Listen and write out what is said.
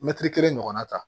Mɛtiri kelen ɲɔgɔnna ta